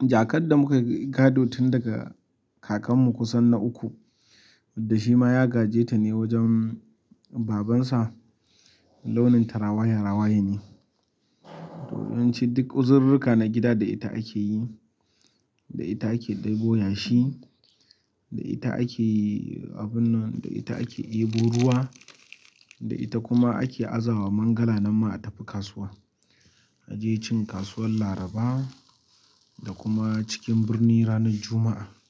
jakar da muka gado tun daga kakanmu kusan na uku, wadda shi ma ya gaji ta ne wajen babansa, launin ta rawaya rawaya ne. To, yawan ci duk uzurirrika na gida da ita ake yi, da ita ake ɗebo yashi, da ita ake abun nan, da ita ake ɗebo ruwa, da ita kuma ake azawa mangala nan ma a tafi kasuwa. A je cin kasuwar Laraba da kuma cikin birni ranar Juma'a.